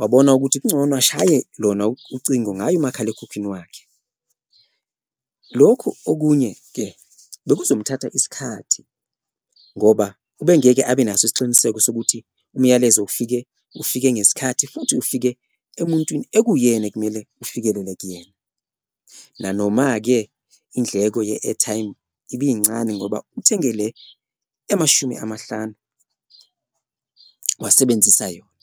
wabona ukuthi kuncono ashaye lona ucingo ngaye umakhalekhukhwini wakhe. Lokhu okunye-ke bekuzomthatha isikhathi ngoba ubengeke abenaso isiqiniseko sokuthi umyalezo ufike ufike ngesikhathi futhi ufike emuntwini ekuwuyena ekumele ufikelele kuyena, nanoma-ke indleko ye-airtime ibincane ngoba uthengele emashumi amahlanu wasebenzisa yona.